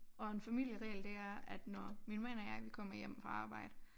Og en familieregel det er at når min mand og jeg vi kommer hjem fra arbejde